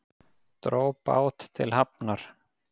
Dró bát til hafnar